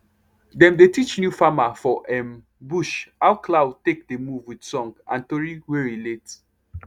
dem dey teach new farmer for um bush how cloud take dey move with song and tori wey relate